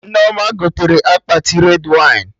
Nneoma gotere akpati red wine